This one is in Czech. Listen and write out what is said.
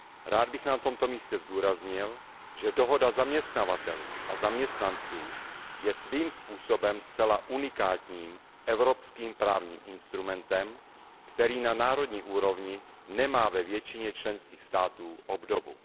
Rád bych na tomto místě zdůraznil, že dohoda zaměstnavatelů a zaměstnanců je svým způsobem zcela unikátním evropským právním instrumentem, který na národní úrovni nemá ve většině členských států obdobu.